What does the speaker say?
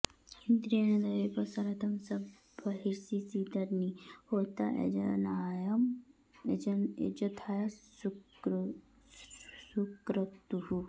इन्द्रे॑ण दे॒वैः स॒रथं॒ स ब॒र्हिषि॒ सीद॒न्नि होता॑ य॒जथा॑य सु॒क्रतुः॑